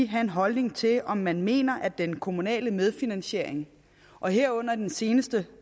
have en holdning til om man mener at den kommunale medfinansiering og herunder den seneste